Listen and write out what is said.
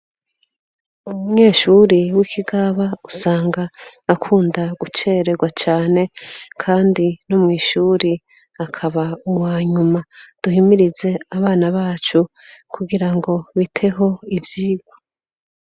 Umunyeshure wikigaba, usanga akunda gucererwa cane, kandi no mw'ishure akaba uwanyuma, duhimirize abana bacu gukunda ivyirwa.